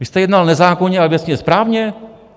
Vy jste jednal nezákonně, ale věcně správně?